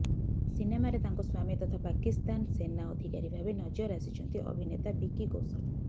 ସିନେମାରେ ତାଙ୍କ ସ୍ୱାମୀ ତଥା ପାକିସ୍ତାନ ସେନା ଅଧିକାରୀ ଭାବେ ନଜର ଆସିଛନ୍ତି ଅଭିନେତା ବିକି କୌଶଲ୍